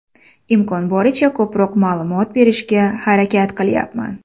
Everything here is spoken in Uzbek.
Imkon boricha ko‘proq ma’lumot berishga harakat qilyapman.